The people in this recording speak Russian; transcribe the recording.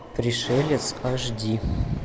пришелец аш ди